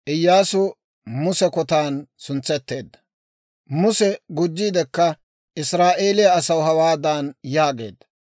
Muse gujjiidikka Israa'eeliyaa asaw hawaadan yaageedda;